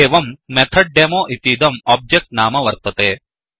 एवम् MethodDemoमेथड् डेमो इतीदम् ओब्जेक्ट् नाम वर्तते